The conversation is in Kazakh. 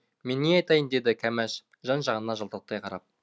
мен не айтайын деді кәмәш жан жағына жалтақтай қарап